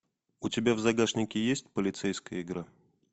у тебя в загашнике есть полицейская игра